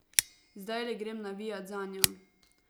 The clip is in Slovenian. Zdajle grem navijat zanjo.